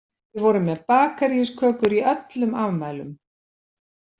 Við vorum með bakarískökur í öllum afmælum.